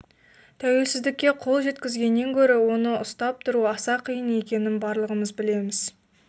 тәуелсіздікке қол жеткізгеннен гөрі оны ұстап тұру аса қиын екенін барлығымыз білеміз